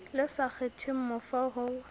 le sa kgetheng mofo ho